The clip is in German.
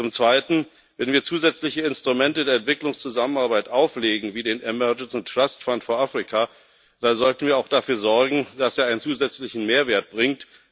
Zum Zweiten Wenn wir zusätzliche Instrumente der Entwicklungszusammenarbeit auflegen wie den Nothilfe Treuhandfonds für Afrika dann sollten wir auch dafür sorgen, dass er einen zusätzlichen Mehrwert bringt.